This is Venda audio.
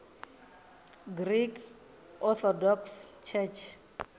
greek orthodox church